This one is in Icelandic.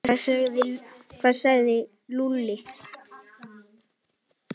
Hvað sagði Lúlli?